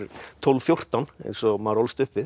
tólf til fjórtán eins og maður ólst upp við